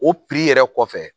O yɛrɛ kɔfɛ